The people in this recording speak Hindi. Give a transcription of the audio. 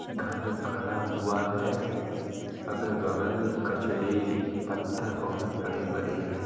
घर खड़ा हुआ है अगल-बगल कचड़ी पत्थर बहुत बड़े-बड़े हैं।